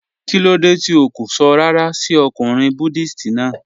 Kilódé tí ó kó sọ̀ ràrà sí ọ̀kùnrin Buddhist náà?